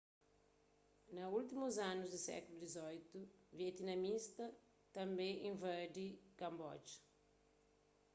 na últimus anu di sékulu xviii vietnamitas tanbê invadi kanboja